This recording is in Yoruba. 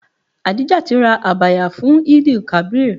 Adijat ra Abaya fún Eid-el-kabir.